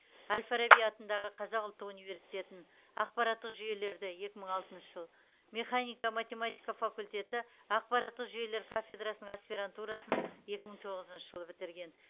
әл фараби атындағы қазақ ұлттық университетін ақпараттық жүйелерді екі мың алтыншы жыл механика математика факультеті ақпараттық жүйелер кафедрасының аспирантурасын екі мың тоғызыншы жылы бітірген